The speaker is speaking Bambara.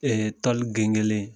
toli gengenlen